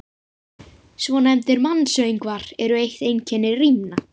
Svonefndir mansöngvar eru eitt einkenni rímna.